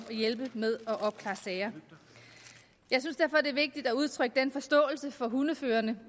at hjælpe med at opklare sager jeg synes derfor er vigtigt at udtrykke forståelse for hundeførerne